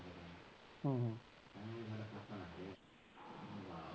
ਹਮ ਹਮ